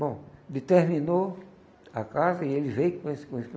Bom, determinou a casa e ele veio com esse com esse